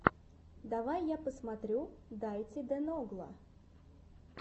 давай я посмотрю дайти де ногла